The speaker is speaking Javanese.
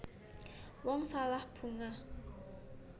Wong salah bungah